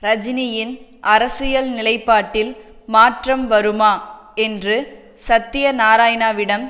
ரஜினியின் அரசியல் நிலைப்பாட்டில் மாற்றம் வருமா என்று சத்தியநாராயணாவிடம்